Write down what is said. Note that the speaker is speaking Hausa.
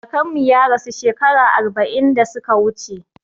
Kakanmu ya rasu shekara arba'in da suka wuce